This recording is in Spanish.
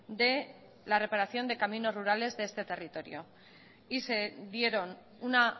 de la reparación de caminos rurales de este territorio y se dieron una